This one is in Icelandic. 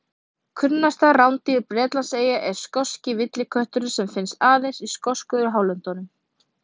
Kunnasta rándýr Bretlandseyja er skoski villikötturinn sem finnst aðeins í skosku hálöndunum.